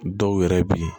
Dɔw yɛrɛ bi